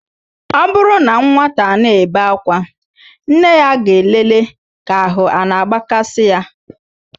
Ọ bụrụ na nwata ana-ebe akwa, nne ya ga-elele ka ahụ a na-agbakasị ya.